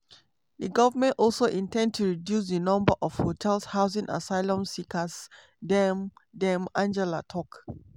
di goment also in ten d to reduce di number of hotels housing asylum seekers dame dame angela tok.